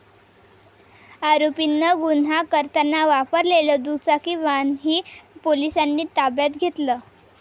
आरोपीनं गुन्हा करताना वापरलेलं दुचाकी वाहनही पोलिसांनी ताब्यात घेतलंय.